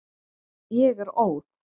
Ég er óð.